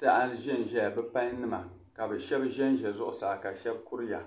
taha zan zaya. bipan nima. kabi shab. zan za zuɣu saa kashab kuriya